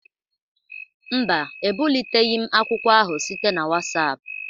Mba, ebuliteghị m akwụkwọ ahụ site na WhatsApp